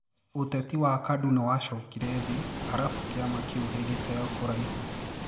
Uteti wa Kadu niwashokire thii arafu kiama kiu gigiteo kũraihu.